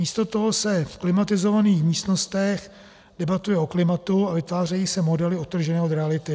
Místo toho se v klimatizovaných místnostech debatuje o klimatu a vytvářejí se modely odtržené od reality.